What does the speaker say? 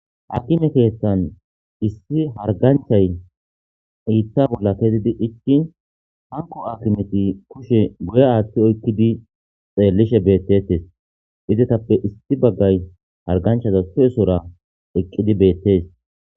akime keeththan issi harganchay iitta bolla kezidi icki hanko akimeti kushe guye aathti oykkidi xeellishe beettetes izetappe issi baggay harganchaza su7esora eqqidi beettees